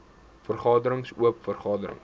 vergaderings oop vergaderings